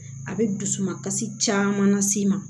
A bɛ dusukasi caman las'i ma